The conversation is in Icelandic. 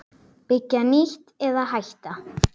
Byggja nýtt- eða hætta?